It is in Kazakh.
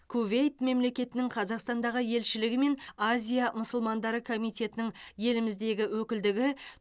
кувейт мемлекетінің қазақстандағы елшілігі мен азия мұсылмандары комитетінің еліміздегі өкілдігі